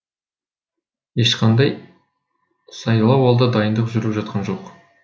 ешқандай сайлауалды дайындық жүріп жатқан жоқ